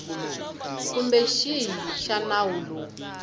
kumbe xihi xa nawu lowu